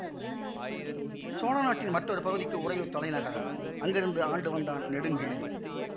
சோழ நாட்டின் மற்றொரு பகுதிக்கு உறையூர் தலைநகரம் அங்கிருந்து ஆண்டு வந்தான் நெடுங்கிள்ளி